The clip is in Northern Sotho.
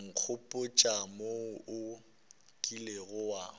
nkgopotša wo o kilego wa